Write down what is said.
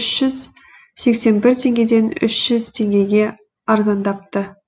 үш жүз сексен бір теңгеден үш жүз теңгеге арзандапты